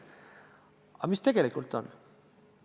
Aga mis tegelikult sünnib?